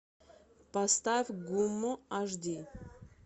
поставь гумму аш ди